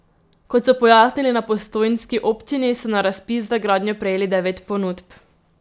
Kot so pojasnili na postojnski občini, so na razpis za gradnjo prejeli devet ponudb.